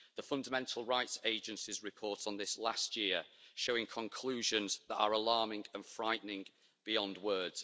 The Fundamental Rights Agency's report on this last year shows conclusions that are alarming and frightening beyond words.